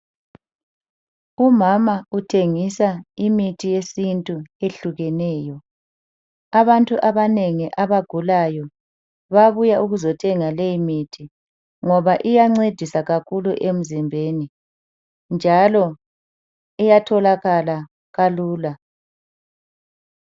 Umama uthengisa imithi yesintu eyehlukeneyo. Abantu abanengi abagulayo bayabuya ukuzothenga leyi mithi. Ngoba iyancedisa kakhulu emzimbeni njalo iyatholakala kalula.